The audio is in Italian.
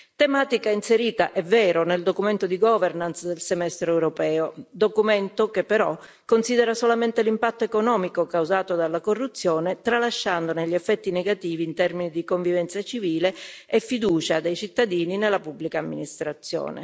tematica inserita, è vero, nel documento di governance del semestre europeo, documento che, però, considera solamente l'impatto economico causato dalla corruzione, tralasciandone gli effetti negativi in termini di convivenza civile e fiducia dei cittadini nella pubblica amministrazione.